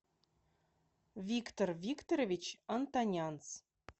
виктор викторович антонянц